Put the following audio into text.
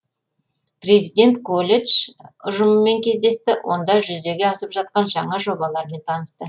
президент колледж ұжымымен кездесті онда жүзеге асып жатқан жаңа жобалармен танысты